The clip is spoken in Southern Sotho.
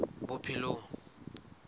bophelong